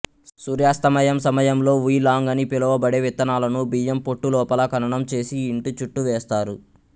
సూర్యాస్తమయం సమయంలో వుయ్ లాంగ్ అని పిలువబడే విత్తనాలను బియ్యం పొట్టు లోపల ఖననం చేసి ఇంటి చుట్టూ వేస్తారు